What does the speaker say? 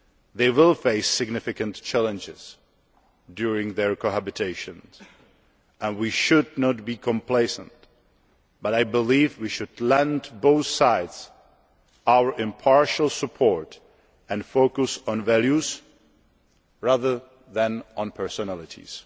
They will face significant challenges during their cohabitation, and we should not be complacent, but I believe we should lend both sides our impartial support and focus on values rather than personalities.